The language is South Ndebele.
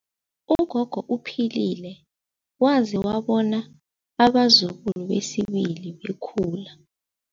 Ugogo uphilile waze wabona abazukulu besibili bekhula.